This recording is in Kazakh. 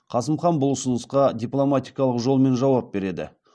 қасым хан бұл ұсынысқа дипломатикалық жолмен жауап береді